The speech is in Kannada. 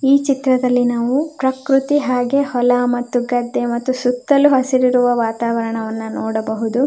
ಈ ಚಿತ್ರದಲ್ಲಿ ನಾವು ಪ್ರಕೃತಿ ಹಾಗೆ ಹೊಲ ಮತ್ತು ಗದ್ದೆ ಮತ್ತು ಸುತ್ತಲು ಹಸಿರಿರುವ ವಾತಾವರಣವನ್ನು ನೋಡಬಹುದು.